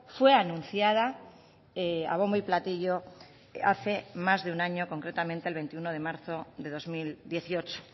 fue anunciada a bombo y platillo hace más de un año concretamente el veintiuno de marzo de dos mil dieciocho